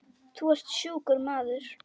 Þú ert sjúkur maður.